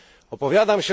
Opowiadam